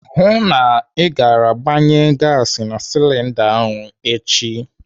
Hụụ na ị gara gbanye gasi na silinda ahụ echi!